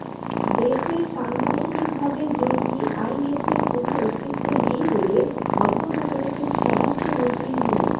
দেশে সাংগঠনিকভাবে জঙ্গি আইএসের কোনো অস্তিত্ব নেই বলে মন্তব্য করেছেন স্বরাষ্ট্রমন্ত্রী মো